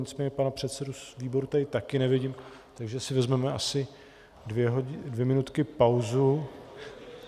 Nicméně pana předsedu z výboru tady také nevidím, takže si vezmeme asi dvě minutky pauzu.